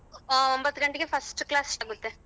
ಹ ವಂಬತ್ತ ಗಂಟಗೆ first class start ಆಗುತ್ತೆ.